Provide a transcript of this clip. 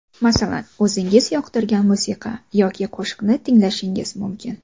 Masalan, o‘zingiz yoqtirgan musiqa yoki qo‘shiqni tinglashingiz mumkin.